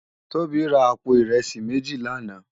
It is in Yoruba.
Tobi rá àpó irèsí méjí làná